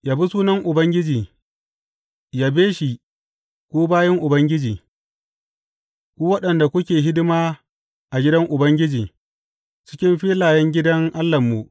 Yabi sunan Ubangiji; yabe shi, ku bayin Ubangiji, ku waɗanda kuke hidima a gidan Ubangiji, cikin filayen gidan Allahnmu.